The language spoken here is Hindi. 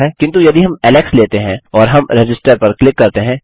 किन्तु यदि हम एलेक्स लेते हैं और हम रजिस्टर पर क्लिक करते हैं